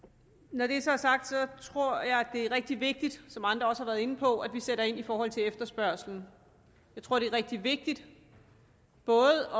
når det så er sagt tror jeg at det er rigtig vigtigt som andre også har været inde på at vi sætter ind i forhold til efterspørgslen jeg tror at det er rigtig vigtigt både